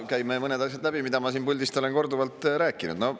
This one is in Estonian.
Käime läbi mõned asjad, mida ma siit puldist olen korduvalt rääkinud.